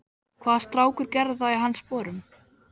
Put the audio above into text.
Hvaða strákur gerði það í hans sporum?